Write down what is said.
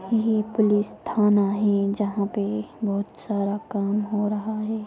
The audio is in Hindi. ये पुलिस थाना है जहां पे बहुत सारा काम हो रहा है।